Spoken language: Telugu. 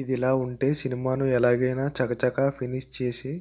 ఇదిలా వుంటే ఈ సినిమాను ఎలాగైనా చకచకా ఫినిష్ చేసి